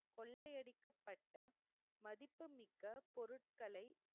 கொள்ளையடிக்கப்பட்ட மதிப்புமிக்க பொருட்களை,